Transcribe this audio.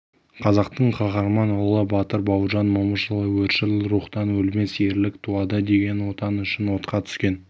қазақтың қаһарман ұлы батыр бауыржан момышұлы өршіл рухтан өлмес ерлік туады деген отан үшін отқа түскен